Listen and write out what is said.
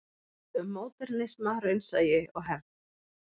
Um módernisma, raunsæi og hefð.